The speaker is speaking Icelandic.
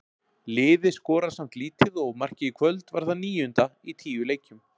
Liðið skorar samt lítið og markið í kvöld var það níunda í tíu leikjum.